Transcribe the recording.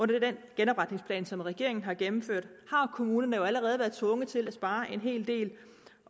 det i den genopretningsplan som regeringen har gennemført har kommunerne jo allerede været tvunget til at spare en hel del